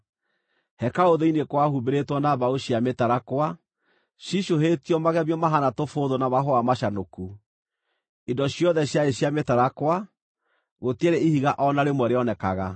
Hekarũ thĩinĩ kwahumbĩrĩtwo na mbaũ cia mĩtarakwa, ciicũhĩtio magemio mahaana tũbũũthũ na mahũa macanũku. Indo ciothe ciarĩ cia mĩtarakwa; gũtiarĩ ihiga o na rĩmwe rĩonekaga.